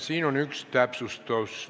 Siin on üks täpsustus.